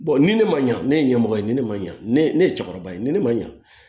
ni ne ma ɲa ne ye ɲɛmɔgɔ ye ni ne ma ɲa ne ne ye cɛkɔrɔba ye ni ne ma ɲa